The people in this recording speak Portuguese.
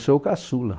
Eu sou caçula.